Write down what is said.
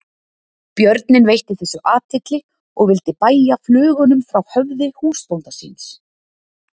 Björninn veitti þessu athygli og vildi bægja flugunum frá höfði húsbónda síns.